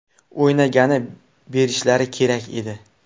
O‘ynagani berishlari kerak edi.